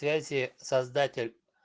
связи создатель